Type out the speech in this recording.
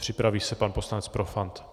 Připraví se pan poslanec Profant.